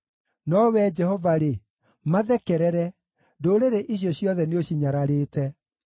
No Wee Jehova-rĩ, mathekerere; ndũrĩrĩ icio ciothe nĩũcinyararĩte.